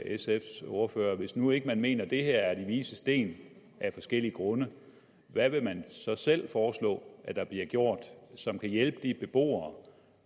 sfs ordfører hvis nu ikke man mener at det her er de vises sten af forskellige grunde hvad vil man så selv foreslå der bliver gjort som kan hjælpe de beboere